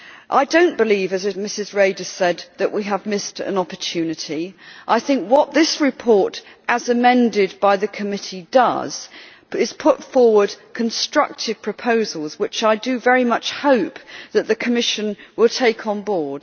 I do not believe, as Ms Reda said, that we have missed an opportunity. I think what this report, as amended by the committee, does is to put forward constructive proposals which I very much hope the Commission will take on board.